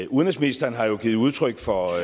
udenrigsministeren har jo givet udtryk for